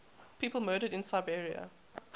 people murdered in serbia